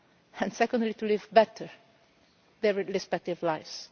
live and, secondly, to live better, their respective lives.